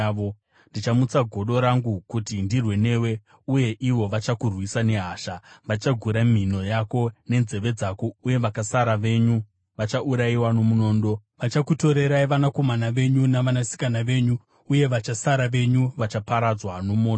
Ndichamutsa godo rangu kuti ndirwe newe, uye ivo vachakurwisa nehasha. Vachagura mhino yako nenzeve dzako, uye vakasara venyu vachaurayiwa nomunondo. Vachakutorerai vanakomana venyu navanasikana venyu, uye vachasara venyu vachaparadzwa nomoto.